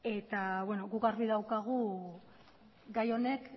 eta beno guk argi daukagu gai honek